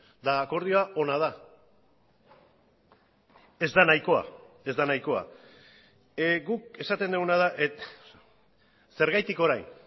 eta akordioa ona da ez da nahikoa ez da nahikoa guk esaten duguna da zergatik orain